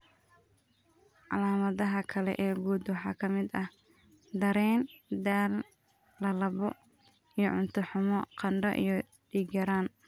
Calaamadaha kale ee guud waxaa ka mid ah dareen daal, lallabbo iyo cunto xumo, qandho, iyo dhiig-yaraan.